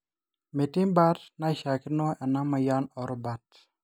metii baata naishakino eina moyian oorubat